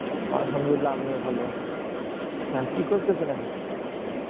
আলহামদুলিল্লাহ আমিও ভালো। হ্যাঁ কি করতেছেন এখন?